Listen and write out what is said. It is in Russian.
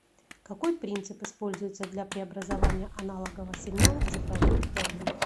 какой принцип используется для преобразования аналогового сигнала в цифровую форму